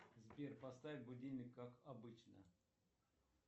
сбер поставь будильник как обычно